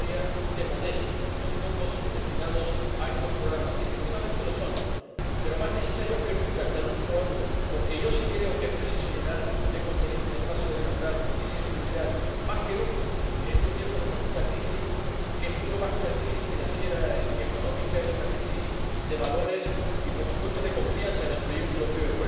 La Comisaria ha calificado de modestos los fondos destinados a estos programas y, efectivamente, lo son, pero más necesarios que nunca hasta el último euro porque yo sí creo que es preciso llenar de contenido el espacio de libertad, justicia y seguridad, más que nunca en estos tiempos de profunda crisis, que es mucho más que una crisis financiera y económica es una crisis de valores y, por supuesto, de confianza en el proyecto europeo.